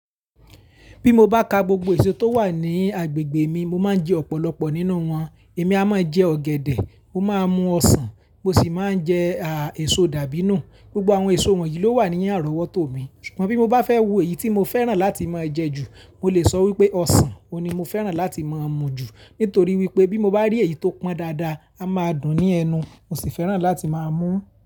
Bí mo bá ka gbogbo èso tó wà ní agbègbè mi, mo máa ń jẹ ọ̀pọ̀lọpọ̀ nínú wọn. Èmi a máa jẹ ọ̀gẹ̀dẹ̀, ó máa mú ọsàn, mo sì máa ń jẹ àà èso dàbínù. Gbogbo àwọn èso wọ̀nyí ló wà ní àrọ̀wọ́tọ̀ mi. Ṣùgbọ́n bí mo bá fẹ́ wo eyi tí mo fẹ́ràn láti máa jẹ jù, mo lè sọ wípé ọsàn, òun ni mo fẹ́ràn láti máa mu jù. Nítorí wípé bí mo bá rí èyí tó pọn dáadáa, a máa dùn ní ẹnu, mo sì fẹ́ràn láti máa mú ú.